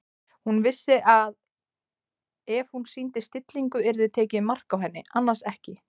Hún vissi að ef hún sýndi stillingu yrði tekið mark á henni- annars ekki.